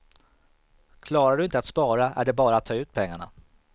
Klarar du inte att spara är det bara att ta ut pengarna.